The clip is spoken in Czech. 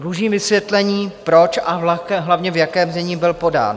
Dlužím vysvětlení, proč a hlavně v jakém znění byl podán.